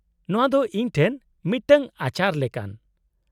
-ᱱᱚᱶᱟ ᱫᱚ ᱤᱧ ᱴᱷᱮᱱ ᱢᱤᱫᱴᱟᱝ ᱟᱪᱟᱨ ᱞᱮᱠᱟᱱ ᱾